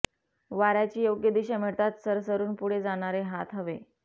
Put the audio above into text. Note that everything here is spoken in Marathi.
वाऱ्याची योग्य दिशा मिळताच सरसरून पुढे जाणारे हात हवे